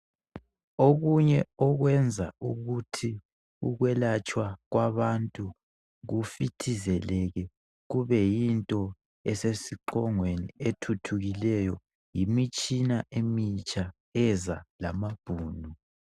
okunye okwenza ukuthi ukwelatshwa kwbantu kufithizeleke kube yinto eseiqongweni ethuthukileyo yimitshina emitsha eza lamabhunu